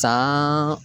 San